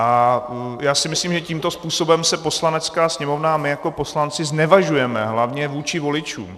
A já si myslím, že tímto způsobem se Poslanecká sněmovna a my jako poslanci znevažujeme hlavně vůči voličům.